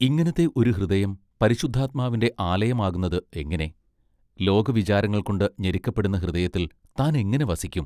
ഇങ്ങിനത്തെ ഒരു ഹൃദയം പരിശുദ്ധാത്മാവിന്റെ ആലയമാകുന്നത് എങ്ങിനെ ലോകവിചാരങ്ങൾകൊണ്ട് ഞെരുക്കപ്പെടുന്ന ഹൃദയത്തിൽ താൻ എങ്ങിനെ വസിക്കും.